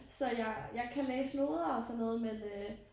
Så jeg jeg kan læse noder og sådan noget men øh